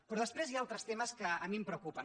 però després hi ha altres temes que a mi em preocupen